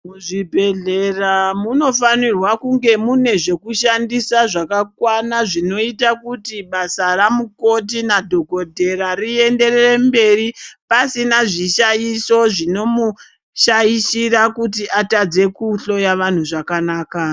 Muzvibhehlera munofanira kunge mune zvekushandisa zvakakwana zvinoite kuti basa ramukoti nadhokodheya rienderere mberi .Pasina zvishaisho zvinomushaishira kuti atadze kuhloya vantu zvakanaka.